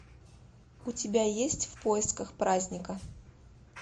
у тебя есть в поисках праздника